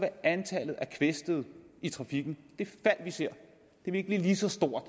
antallet af kvæstede i trafikken vi ser ikke blive lige så stort